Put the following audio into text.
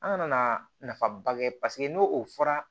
An kana na nafaba kɛ paseke n'o o fɔra